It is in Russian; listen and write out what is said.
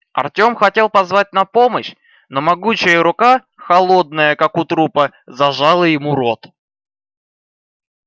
артём хотел позвать на помощь но могучая рука холодная как у трупа зажала ему рот